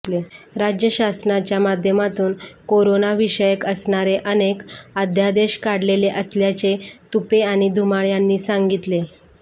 राज्य शासनाच्या माध्यमातून कोरोना विषयक असणारे अनेक अध्यादेश काढलेले असल्याचे तुपे आणि धुमाळ यांनी सांगितले